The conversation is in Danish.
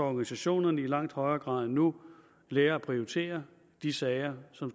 organisationerne i langt højere grad end nu lærer at prioritere de sager som